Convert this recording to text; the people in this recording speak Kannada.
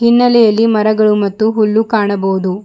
ಹಿನ್ನಲೆಯಲ್ಲಿ ಮರಗಳು ಮತ್ತು ಹುಲ್ಲು ಕಾಣಬಹುದು.